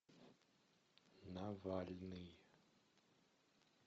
навальный